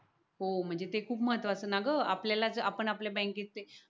हो म्हणजे ते खूप महत्त्वाचं ना ग आपल्याला आपणच आपल्या बँकेचे